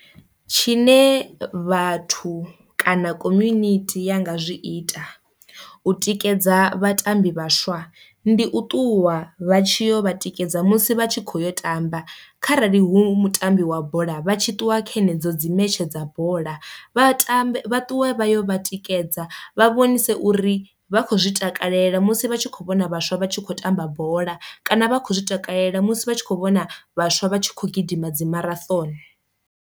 Tshine vhathu kana community ya nga zwi ita u tikedza vhatambi vhaswa, ndi u ṱuwa vha tshi yo vha tikedza musi vha tshi kho yo tamba, kharali hu mutambi wa bola vha tshi ṱuwa khe nedzo dzi metshe dza bola vha tambe ṱuwe vha yo vha tikedza vha vhonise uri vha khou zwi takalela musi vha tshi kho vhona vhaswa vha tshi khou tamba bola, kana vha khou zwi takalela musi vha tshi kho vhona vhaswa vha tshi khou gidima dzi marathon.